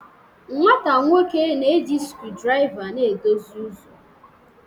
nwata nwoke na-eji screwdriver na-edozi ụzọ